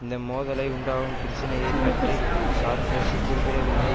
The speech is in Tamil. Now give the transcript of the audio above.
இந்த மோதலை உண்டாகும் பிரச்சினையை பற்றி சார்க்கோசி குறிப்பிடவில்லை